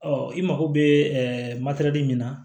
Ɔ i mago bɛ min na